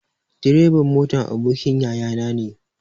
Direban motan abokin yayana ne.